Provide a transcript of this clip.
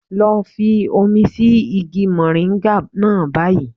Lọ fi omi sí igi mòríńgà náà báyìí.